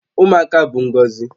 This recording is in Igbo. Ụmụaka bụ ngọzi